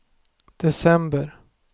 december